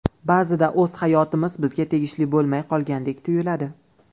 Ba’zida o‘z hayotimiz bizga tegishli bo‘lmay qolgandek tuyuladi.